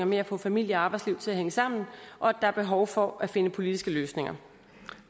med at få familie og arbejdsliv til at hænge sammen og at der er behov for at finde politiske løsninger